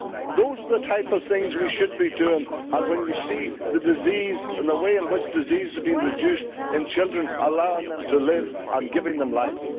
Those are the type of things we should be doing, when you see the disease and the way in which disease is being reduced in children, allowing them to live and giving them life.